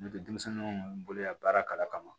N'o tɛ denmisɛnnin minnu bolo yan baara kalan kama